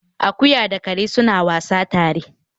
Akuya da kare suna wasa tare